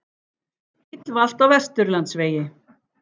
Bíll valt á Vesturlandsvegi